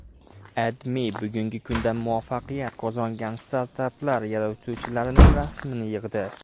AdMe bugungi kunda muvaffaqiyat qozongan startaplar yaratuvchilarining rasmini yig‘di.